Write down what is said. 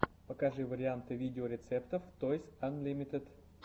покажи варианты видеорецептов тойс анлимитед